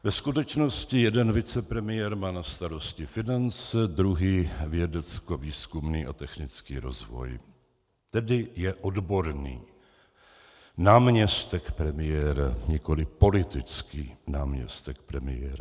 Ve skutečnosti jeden vicepremiér má na starosti finance, druhý vědeckovýzkumný a technický rozvoj, tedy je odborný náměstek premiéra, nikoliv politický náměstek premiéra.